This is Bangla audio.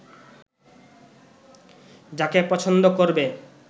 যাকে পছন্দ করবে